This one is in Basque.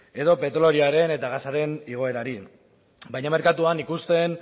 edo petrolioaren edo gasaren igoerari baina merkatuan ikusten